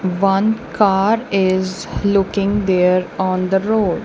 one car is looking there on the road.